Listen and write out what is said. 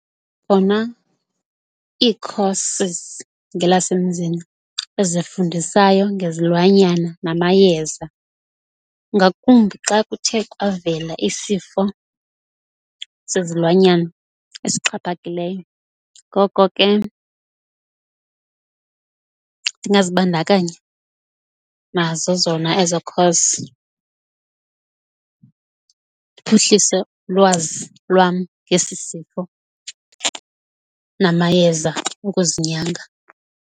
Khona ii-courses ngelasemzini ezifundisayo ngezilwanyana namayeza ngakumbi xa kuthe kwavela isifo sezilwanyana esixhaphakeleyo, ngoko ke ndingazibandakanya nazo zona ezo course ndiphuhlise lwazi lwam ngesi sifo namayeza okuzinyanga.